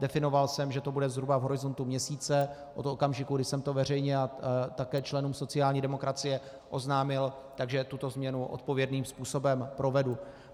Definoval jsem, že to bude zhruba v horizontu měsíce od okamžiku, kdy jsem to veřejně a také členům sociální demokracie oznámil, takže tuto změnu odpovědným způsobem provedu.